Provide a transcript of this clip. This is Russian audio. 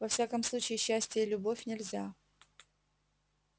во всяком случае счастье и любовь нельзя